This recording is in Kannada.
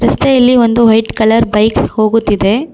ರಸ್ತೆಯಲ್ಲಿ ಒಂದು ವೈಟ್ ಕಲರ್ ಬೈಕ್ ಹೋಗುತ್ತಿದೆ.